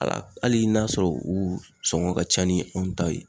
Ala hali n'a sɔrɔ u sɔngɔn ka ca ni anw ta ye